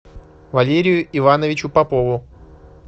валерию ивановичу попову